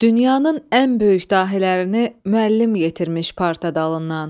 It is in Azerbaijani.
Dünyanın ən böyük dahilərini müəllim yetirmiş parta dalından.